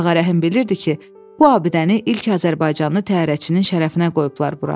Ağarəhim bilirdi ki, bu abidəni ilk azərbaycanlı təyyarəçinin şərəfinə qoyublar bura.